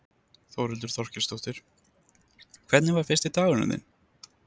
Þórhildur Þorkelsdóttir: Hvernig var fyrsti dagurinn þinn?